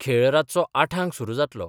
खेळ रातचो आठांक सुरु जातलो.